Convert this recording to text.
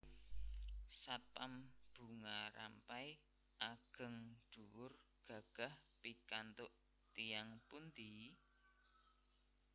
Satpam Bunga Rampai ageng dhuwur gagah pikantuk tiyang pundi?